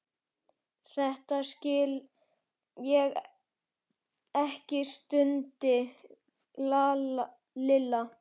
Þetta skil ég ekki stundi Lilla.